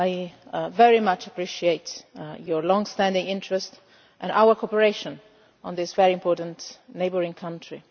I very much appreciate your long standing interest and our cooperation on this important neighbouring country.